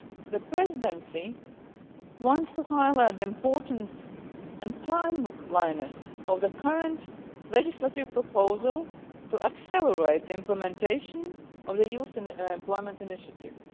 The Presidency wants to highlight the importance and timeliness of the current legislative proposal to accelerate the implementation of the Youth Employment Initiative.